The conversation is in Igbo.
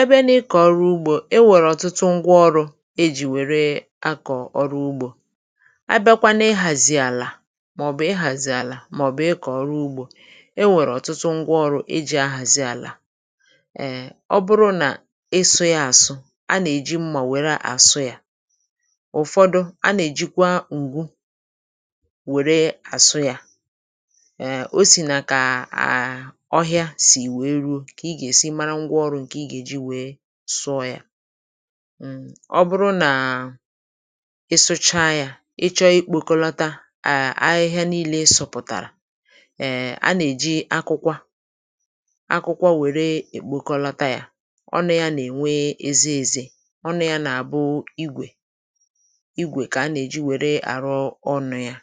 Ebe ni ịkọ ọrụ ugbo, e nwere ọ̀tụtụ ngwa ọrụ̇ e jì wèrè akọ̀ ọrụ ugbo. A bịakwanụ ihàzì àlà, mà ọ̀ bụ̀ ihàzì àlà, mà ọ̀ bụ̀ ị kọọ ọrụ ugbo, ẹ nwẹ̀rẹ̀ ọ̀tụtụ ngwa ọrụ̇ e jì ahàzi àlà. Um Ọ bụrụ nà ịsụ̇ ya àsụ, a nà-èji mmà wèrè àsụ yȧ. Ụ̀fọdụ, a nà èjikwa ǹgu wère àsụ yȧ; Um osi naa kaa a ọhia si wèe ruo, ka ị ga-esi mara ngwa ọrụ ǹkè ị gà-èji wèe sụọ yȧ. Um Ọ bụrụ nà ị sụcha yȧ, ị chọọ ikpòkọlata à ahịhịa niilė ịsọ̇pụ̀tàrà, um, a nà-èji akukwa, akukwa wère èkpòkọlata yȧ. Ọnụ̇ ya nà-ènwe eze ezė, ọnụ̇ ya nà-àbụ igwè, igwè kà a nà-èji wère àrụ ọnụ̇ yȧ,